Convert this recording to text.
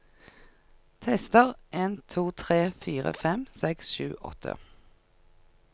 Tester en to tre fire fem seks sju åtte